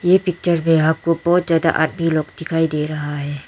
ये पिक्चर में आपको बहोत ज्यादा आदमी लोग दिखाई दे रहा है।